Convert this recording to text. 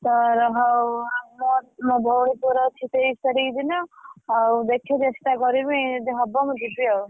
ତୋର ହଉ ମୋ ଭଉଣି ପୁଅ ର ଅଛି ତେଇଶ ତାରିଖ ଦିନ ହଉ ଦେଖିବି ଚେଷ୍ଟା କରିବି ଯଦି ହବ ମୁଁ ଯିବି ଆଉ।